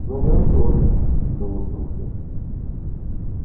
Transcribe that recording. к ногам тоже но вот туфли